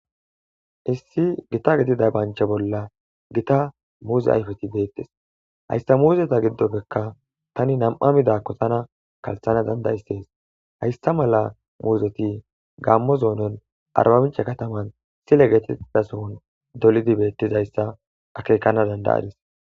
Issi gita getida bancha bolla gita muuze ayfeti deettes hayssa muuzeta giddoppekka tani nam'a midakko tana kalthana danda istees hayssa mala muuzoti gammo zoonon arbamicha kataman sile getiidasohon dolidi beettizayssa akeekana dandayadis.